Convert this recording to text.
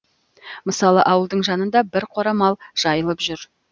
мысалы ауылдың жанында бір қора мал жайылып жүр